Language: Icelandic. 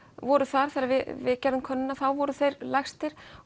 voru þar þegar við gerðum könnunina þá voru þeir lægstir